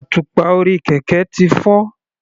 Àtùpà orí kẹ̀kẹ́ ti fọ́.